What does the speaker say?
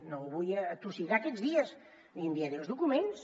no el vull atossigar aquests dies li enviaré els documents